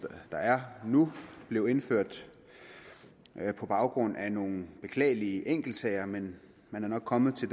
der er nu blev indført på baggrund af nogle beklagelige enkeltsager men man er nok kommet til